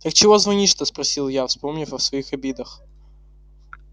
так чего звонишь-то спросила я вспомнив о своих обидах